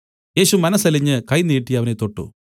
യേശു മനസ്സലിഞ്ഞ് കൈ നീട്ടി അവനെ തൊട്ടു